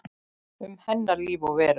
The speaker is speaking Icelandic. Um líf hennar og veröld.